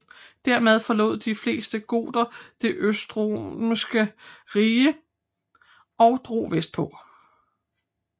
Dermed forlod de fleste goter det østromerske rige og drog vestpå